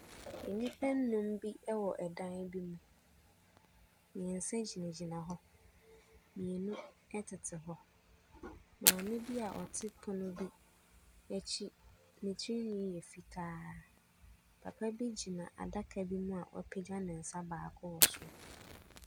Nnipa nnum bi wɔ dan bi mu. Mmeɛnsa gyinagyina hɔ. Mmienu tete hɔ. Maame bi a ɔte pono bi akyi, ne tirinwi yɛ fitaa. Papa bi gyina adaka bi mu a wapagya ne nsa baako wɔ soro.